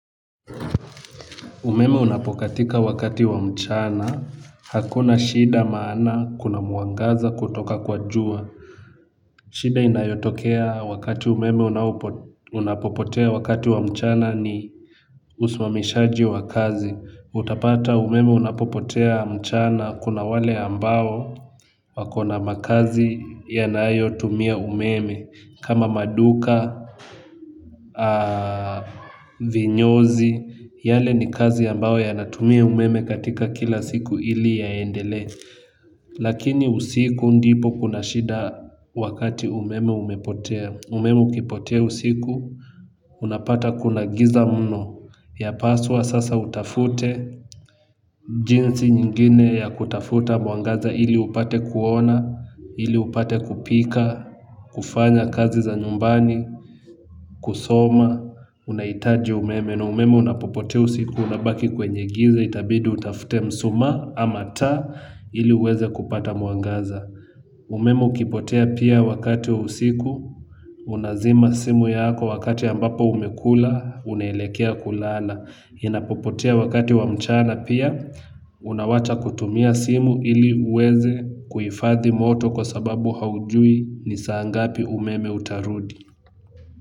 Umeme unapokatika wakati wa mchana hakuna shida maana kuna mwangaza kutoka kwa jua. Shida inayotokea wakati umeme unapopotea wakati wa mchana ni usimamishaji wa kazi utapata umeme unapopotea mchana kuna wale ambao wako na makazi yanayo tumia umeme kama maduka Vinyozi. Yale ni kazi ambao yanatumia umeme katika kila siku ili yaendele. Lakini usiku ndipo kuna shida wakati umeme umepotea. Umeme ukipotea usiku. Unapata kuna giza mno yapaswa sasa utafute. Jinsi nyingine ya kutafuta mwangaza ili upate kuona. Ili upate kupika kufanya kazi za nyumbani Kusoma. Unaitaji umeme na umeme unapopotea usiku unabaki kwenye giza itabidi utafute msuma ama taa ili uweze kupata mwangaza. Umeme ukipotea pia wakati wa usiku unazima simu yako wakati ambapo umekula unaelekea kulala. Inapopotea wakati wa mchana pia unawacha kutumia simu ili uweze kuifathi moto kwa sababu haujui ni saa ngapi umeme utarudi.